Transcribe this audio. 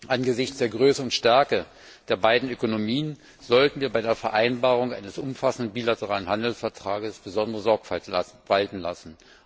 Angesichts der Größe und Stärke der beiden Ökonomien sollten wir bei der Vereinbarung eines umfassenden bilateralen Handelsvertrags besondere Sorgfalt walten lassen.